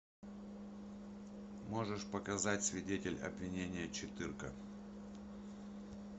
можешь показать свидетель обвинения четырка